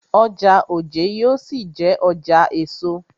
Ọjà Ojé yóò ṣì jé ọjà èso.